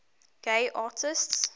gay artists